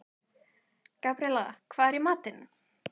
Gabríela, hvað er í matinn?